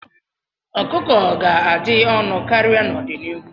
Ọkụkọ ga-adị ọnụ karịa n'ọdịnihu.